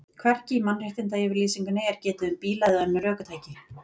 Hvergi í Mannréttindayfirlýsingunni er getið um bíla eða önnur ökutæki.